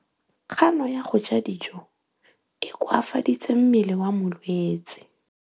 Kganô ya go ja dijo e koafaditse mmele wa molwetse.